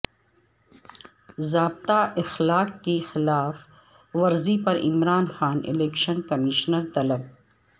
ضابطہ اخلاق کی خلاف ورزی پر عمران خان الیکشن کمیشن طلب